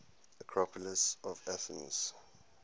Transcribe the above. acropolis of athens